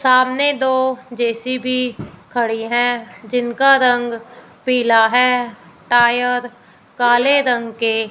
सामने दो जे_सी_बी खड़ी है। जिनका रंग पीला है टायर काले रंग के--